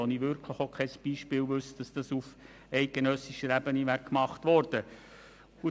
Ich wüsste kein Beispiel, wo dies auf eidgenössischer Ebene gemacht worden wäre.